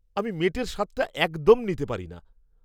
আমি মেটের স্বাদটা একদম নিতে পারিনা।